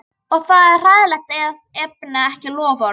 Og það er hræðilegt að efna ekki loforð.